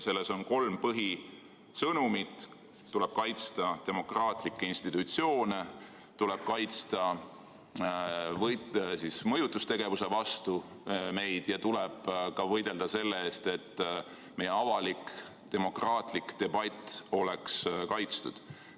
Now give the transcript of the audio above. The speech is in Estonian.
Selles on kolm põhisõnumit: tuleb kaitsta demokraatlikke institutsioone, tuleb kaitsta meid mõjutustegevuse eest ja tuleb ka võidelda selle eest, et meie avalik demokraatlik debatt oleks kaitstud.